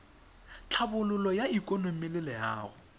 tlhabololo ya ikonomi le loago